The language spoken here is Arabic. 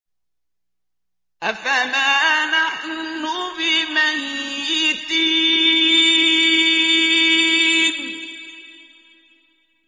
أَفَمَا نَحْنُ بِمَيِّتِينَ